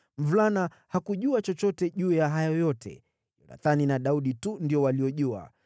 (Mvulana hakujua chochote juu ya hayo yote; Yonathani na Daudi tu ndio waliojua.)